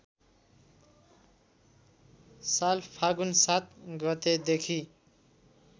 साल फागुन ७ गतेदेखि